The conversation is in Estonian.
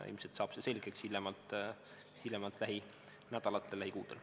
Ilmselt saab see selgeks hiljemalt lähinädalatel või lähikuudel.